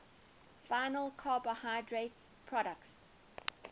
final carbohydrate products